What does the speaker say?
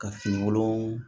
Ka finikolon